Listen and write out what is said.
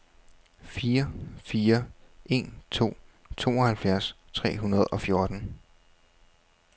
fire fire en to tooghalvfjerds tre hundrede og fjorten